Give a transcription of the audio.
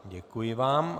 Děkuji vám.